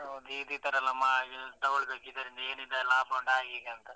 ಹೌದು ಇತರೆಲ್ಲ ಮಾಡಿ ತಗೊಳ್ಬೇಕ್ ಇದ್ರಿಂದ ಏನಿದೆ ಲಾಭ ಹಾಗ್ ಹೀಗ್ ಅಂತ.